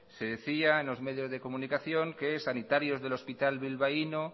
se decía en los medios de comunicación que sanitarios del hospital bilbaíno